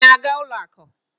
ị na-aga ụlọ akụ?